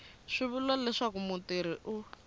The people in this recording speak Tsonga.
swi vula leswaku mutirhi u